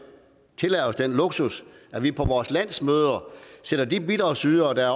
luksus at vi på vores landsmøder sætter de bidragsydere der